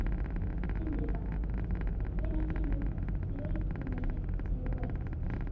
Hinrika, hvenær kemur leið númer fimmtíu og eitt?